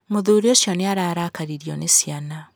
Mũthuri ũcio nĩ ararakaririo nĩ ciana.